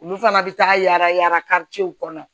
Olu fana bɛ taa yaala yaala kɔnɔ